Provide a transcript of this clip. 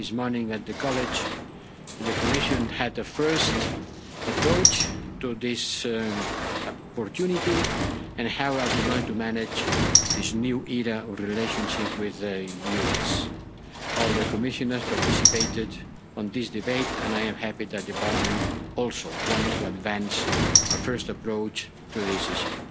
This morning at the college, the Commission took a first look at this opportunity and how we are going to manage this new era of our relationship with the US. All the Commissioners participated in this debate and I am happy that the Parliament also wants to advance a first approach to this issue.